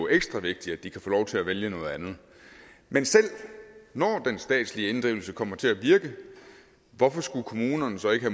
ekstra vigtigt at de kan få lov til at vælge noget andet men selv når den statslige inddrivelse kommer til at virke hvorfor skulle kommunerne så ikke